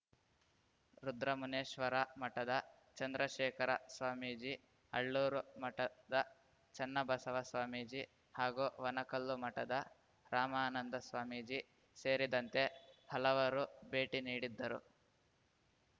ರುದ್ರ ಮುನೇಶ್ವರ ಮಠದ ಚಂದ್ರಶೇಖರ ಸ್ವಾಮೀಜಿ ಅಳ್ಳೂರು ಮಠದ ಚೆನ್ನಬಸವ ಸ್ವಾಮೀಜಿ ಹಾಗೂ ವನಕಲ್ಲು ಮಠದ ರಮಾನಂದ ಸ್ವಾಮೀಜಿ ಸೇರಿದಂತೆ ಹಲವರು ಭೇಟಿ ನೀಡಿದ್ದರು